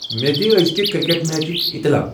مے دِ أزکِہ کرکٹ میچچ اطلاع ۔